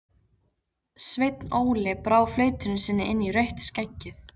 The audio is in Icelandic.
Sveinn Óli brá flautunni sinni inn í rautt skeggið.